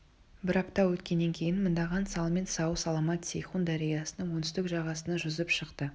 бір апта өткеннен кейін мыңдаған салмен сау-саламат сейхун дариясының оңтүстік жағасына жүзіп шықты